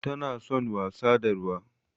Tana son wasa da ruwa.